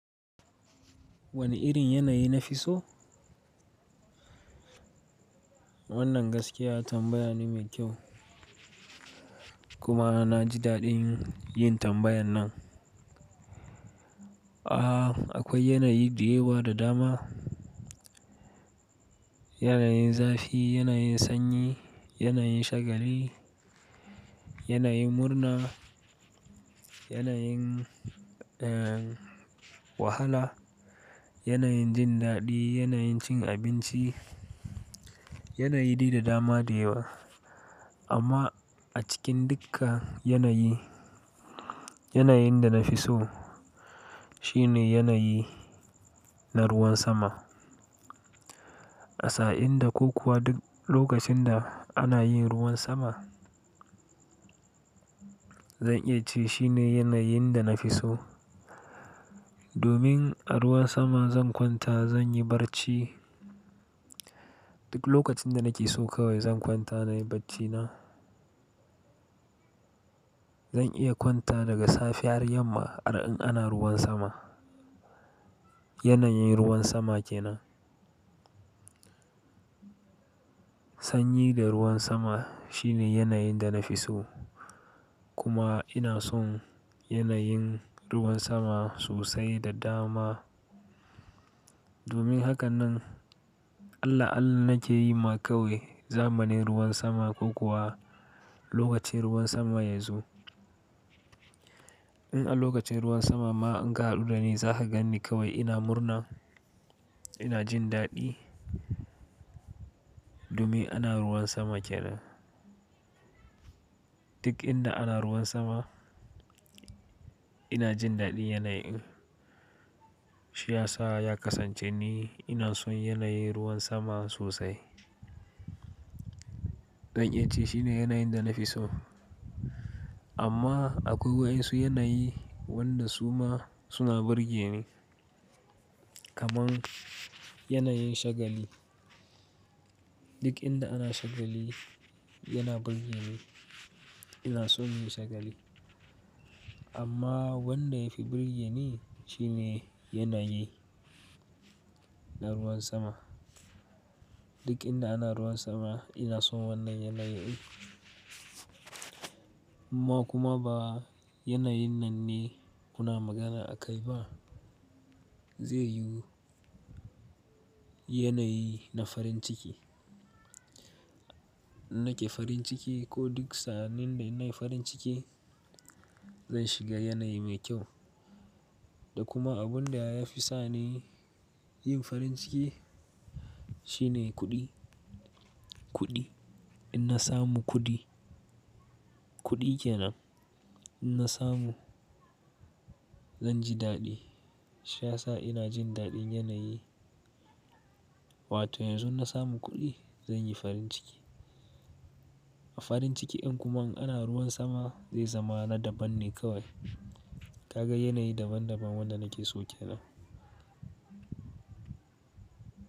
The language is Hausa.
Wane irin yanayi nafi so? Wannan gaskiya tambaya ne mai kyau kuma na ji daɗin yin tambayar nan. Aaa, akwai yanayi da yawa da dama. Yanayin zafi, yanayin sanyi, yanayin shagali, yanayin murna, yanayin, eh, wahala, yanayin jin daɗi, yanayin cin abinci, yanayi da dama da yawa. Amma a cikin duka yanayi, yanayin da na fi so shine yanayi na ruwan sama. A sa'in da ko kuwa duk lokacin da ana yin ruwan sama, zan iya ce shine yanayin da na fi so. Domin a ruwan sama zan kwanta, zan yi barci. Duk lokacin da nake so kawai zan kwanta nayi barcina. Zan iya kwanta daga safe har yamma a ra'in ana ruwan sama. Yanayin ruwan sama ke nan. Sanyi da ruwan sama shine yanayin da na fi so. Kuma ina son yanayin ruwan sama sosai da dama. Domin haka nan Allah Allah nake yi ma kawai zamanin ruwan sama ko kuwa lokacin ruwan sama ya zo. In a lokacin ruwan sama ma in gado da ni za ka gan ni kawai ina murna, ina jin daɗi. Domin ana ruwan sama kenan. Duk inda ana ruwan sama ina jin daɗin yanayin. Shi ya sa ya kasance ni ina son yanayin ruwan sama sosai. Zan iya ce shine yanayin da na fi so. Amma akwai wasu yanayi wanda su ma suna burge ni. Kaman yanayin shagali. Duk inda ana shagali yana burge ni. Ina son yin shagali. Amma wanda ya fi burge ni shi ne yanayi na ruwan sama. Duk inda ana ruwan sama ina son wannan yanayin. Ma kuma ba yanayin nan ne muna magana a kai ba. Zai yuwu yanayi na farin ciki. Nake farin ciki ko duk sa'nin da ina farin ciki zan shiga yanayi mai kyau. Da kuma abun da ya fi sa ni yin farin ciki shine kuɗi, kuɗi. In na samu kuɗi, kuɗi kenan. In na samu zan ji daɗi. Shi ya sa ina jin daɗin yanayi. Wato yanzu na samu kuɗi zan yi farin ciki. A farin cikin kuma in ana ruwan sama zai zama na daban ne kawai. Ka ga yanayi daban daban wanda nake so kenan.